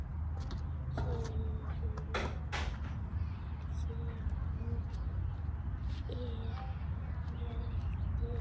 Sigrún og Hjalti.